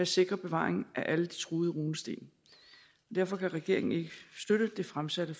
sikre bevaringen af alle de truede runesten derfor kan regeringen ikke støtte det fremsatte